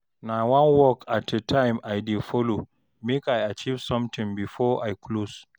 na one work at a time I dey follow mek i achieve somtin bifor I close